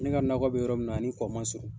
Ne ka nakɔ bɛ yɔrɔ min na ani kɔ man surun.